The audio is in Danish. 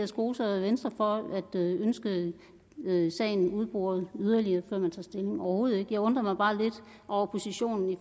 skoser venstre for at ønske sagen udboret yderligere før man tager stilling overhovedet ikke jeg undrer mig bare lidt over positionen